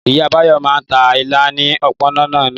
Ìyá Báyọ̀ máa ń ta ilá ní òpópónà náà.